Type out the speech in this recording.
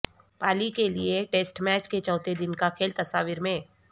Pallekele test match کے چوتھے دن کا کھیل تصاویر میں